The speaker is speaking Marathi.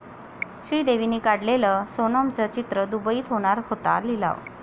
श्रीदेवींनी काढलेलं सोनमचं चित्र, दुबईत होणार होता लिलाव